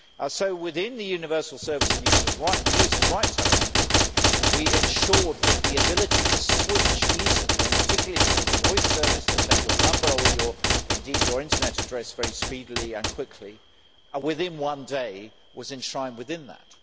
So within the universal service and users' rights element we ensured that the ability to switch easily and particularly if it was a voice service to take your number or indeed your internet address very speedily and quickly within one day was enshrined within that.